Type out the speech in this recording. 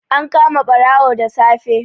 An kama ɓarawon da safe.